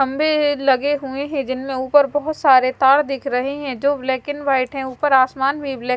खंभे लगे हुए हैं जिनमें ऊपर बहोत सारे तार दिख रहे हैं जो ब्लैक एंड वाइट है ऊपर आसमान भी ब्लैक --